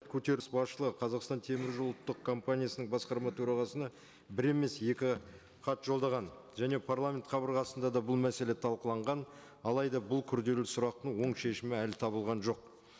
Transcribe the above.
көтеріс басшылығы қазақстан темір жолы ұлттық компаниясының басқарма төрағасына бір емес екі хат жолдаған және парламент қабырғасында да бұл мәселе талқыланған алайда бұл күрделі сұрақтың оң шешімі әлі табылған жоқ